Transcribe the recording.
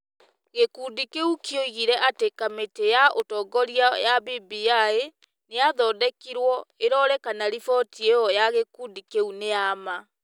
gĩkundi kĩu kĩoigire atĩ kamĩtĩ ya ũtongoria ya BBI nĩ yathondekirwo ĩrore kana riboti ĩyo ya gĩkundi kĩu nĩ ya ma.